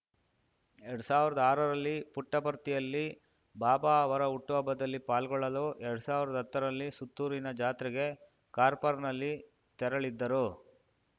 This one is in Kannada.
ಎರಡ್ ಸಾವ್ರ್ದಾ ಆರರಲ್ಲಿ ಪುಟ್ಟಪರ್ತಿಯಲ್ಲಿ ಬಾಬಾ ಅವರ ಹುಟ್ಟುಹಬ್ಬದಲ್ಲಿ ಪಾಲ್ಗೊಳ್ಳಲು ಎರಡ್ ಸಾವ್ರ್ದಾ ಹತ್ತರಲ್ಲಿ ಸುತ್ತೂರಿನ ಜಾತ್ರೆಗೆ ಕಾರ್ಪರ್ನಲ್ಲಿ ತೆರಳಿದ್ದರು